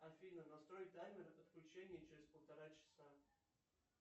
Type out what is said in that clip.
афина настрой таймер отключения через полтора часа